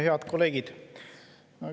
Head kolleegid!